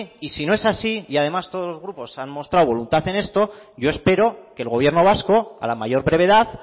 y si no es así y además todos los grupos han mostrado voluntad en esto yo espero que el gobierno vasco a la mayor brevedad